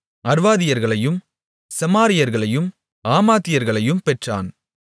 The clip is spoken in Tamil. அர்வாதியர்களையும் செமாரியர்களையும் ஆமாத்தியர்களையும் பெற்றான்